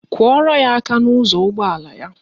Kụọrọ ya aka n'ụzọ ụgbọala ya.